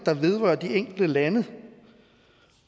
der vedrører de enkelte lande